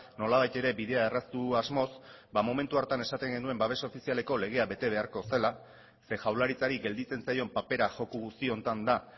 nolabait ere bidea erraztu asmoz ba momentu hartan esaten genuen babes ofizialeko legea bete beharko zela ze jaurlaritzari gelditzen zaion papera joko guzti honetan da